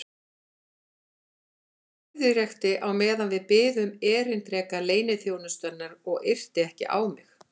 Hann keðjureykti á meðan við biðum erindreka leyniþjónustunnar og yrti ekki á mig.